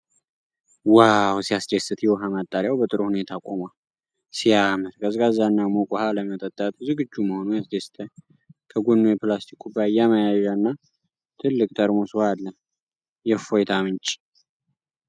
ዋው! ሲያስደስት! የውሃ ማጣሪያው በጥሩ ሁኔታ ቆማል። ሲያምር! ቀዝቃዛና ሙቅ ውሃ ለመጠጣት ዝግጁ መሆኑ ያስደስታል። ከጎኑ የፕላስቲክ ኩባያ መያዣና ትልቅ ጠርሙስ ውሃ አለ። የእፎይታ ምንጭ!